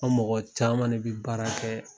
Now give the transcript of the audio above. An mɔgɔ caman de bi baara kɛ